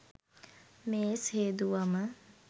මේස් හේදුවම